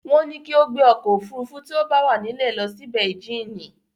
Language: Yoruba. Wọ́n ní kí ó gbé ọkọ̀ òfurufú tí ó bá wà nílẹ̀ lọ sí beijínì.